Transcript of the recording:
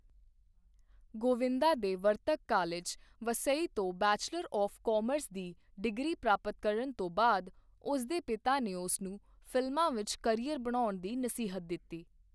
ਗੋਵਿੰਦਾ ਦੇ ਵਰਤਕ ਕਾਲਜ, ਵਸਈ ਤੋਂ bachelor of commerce ਦੀ ਡਿਗਰੀ ਪ੍ਰਾਪਤ ਕਰਨ ਤੋਂ ਬਾਅਦ, ਉਸਦੇ ਪਿਤਾ ਨੇ ਉਸਨੂੰ ਫਿਲਮਾਂ ਵਿੱਚ ਕਰੀਅਰ ਬਣਾਉਣ ਦੀ ਨਸੀਹਤ ਦਿੱਤੀ।